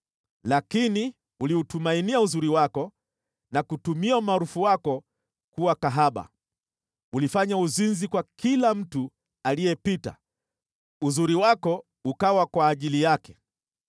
“ ‘Lakini ulitumainia uzuri wako na kutumia umaarufu wako kuwa kahaba. Ulifanya uzinzi kwa kila mtu aliyepita, uzuri wako ukawa kwa ajili yake.